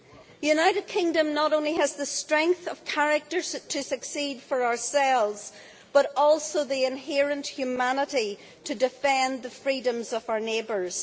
The United Kingdom not only has the strength of character to succeed for ourselves, but also the inherent humanity to defend the freedoms of our neighbours.